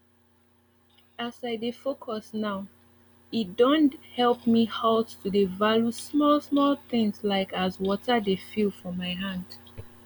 as i dey focus nowe don help me halt to dey value small small things like as water dey feel for my hand